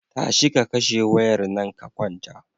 Tashi ka kashe wayar nan ka kwanta.